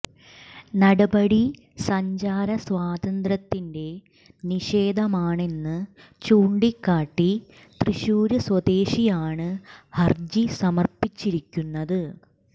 നടപടി സഞ്ചാര സ്വാതന്ത്ര്യത്തിന്റെ നിഷേധമാണെന്ന് ചൂണ്ടിക്കാട്ടി തൃശൂര് സ്വദേശിയാണ് ഹര്ജി സമര്പ്പിച്ചിരിക്കുന്നത്